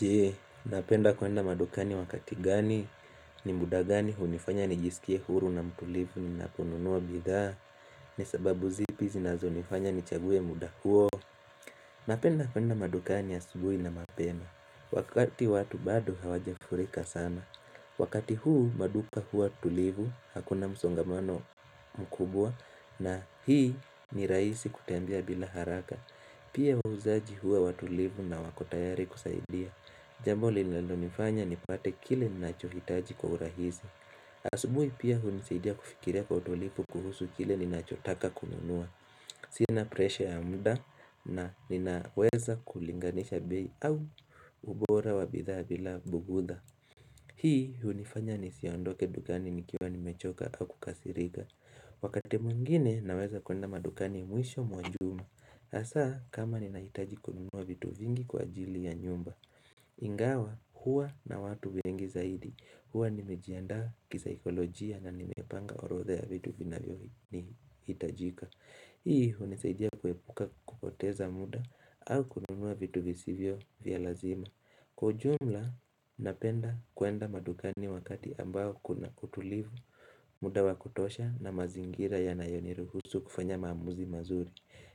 Jee, unapenda kuenda madukani wakati gani? Ni muda gani hunifanya nijisikie huru na mtulivu ninaponunua bidhaa? Ni sababu zipi zinazonifanya nichaguwe muda huo? Napenda kuenda madukani asubuhi na mapema, wakati watu bado hawajafurika sana. Wakati huu maduka huwa tulivu, hakuna msongamano mkubwa na hii ni rahisi kutembea bila haraka. Pia wahuzaji huwa watulivu na wako tayari kusaidia. Jambo linalonifanya nipate kile ninachohitaji kwa urahisi. Asubuhi pia hunisaidia kufikiria kwa utulivu kuhusu kile ninachotaka kununua. Sina presha ya muda na ninaweza kulinganisha bei au ubora wa bidhaa bila bugudha. Hii hunifanya nisiondoke dukani nikiwa nimechoka au kukasirika. Wakati mwingine naweza kuenda madukani mwisho mwa juma. Hasa kama ninahitaji kununua vitu vingi kwajilii ya nyumba. Ingawa, huwa na watu wengi zaidi. Huwa nimejiaanda kisikolojia na nimepanga orodha vitu vina vyo nihitajika. Hii hunisaidia kuepuka kupoteza muda au kununua vitu visivyo vya lazima. Kwa ujumla napenda kuenda madukani wakati ambao kuna kutulivu, muda wa kutosha na mazingira yanayoniruhusu kufanya maamuzi mazuri.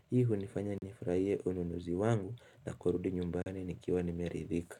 Hii hunifanya nifurahiye ununuzi wangu na kurudi nyumbani nikiwa nimeridhika.